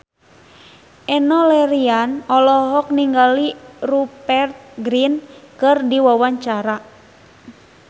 Enno Lerian olohok ningali Rupert Grin keur diwawancara